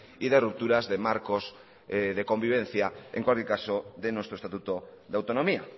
y de rupturas de marcos de convivencia en cualquier caso de nuestro estatuto de autonomía